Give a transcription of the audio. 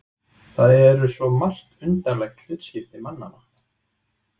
Það eru svo margt undarlegt hlutskipti mannanna.